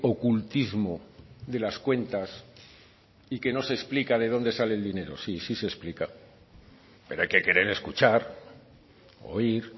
ocultismo de las cuentas y que no se explica de dónde sale el dinero sí sí se explica pero hay que querer escuchar oír